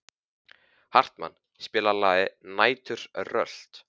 Hartmann, spilaðu lagið „Næturrölt“.